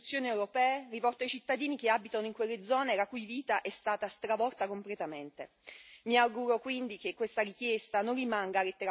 Si tratta di un messaggio importante delle Istituzioni europee rivolto ai cittadini che abitano in quelle zone la cui vita è stata stravolta completamente.